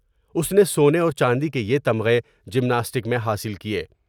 اس نے سونے اور چاندی کے یہ تمغے جمناسٹک میں حاصل کئے ۔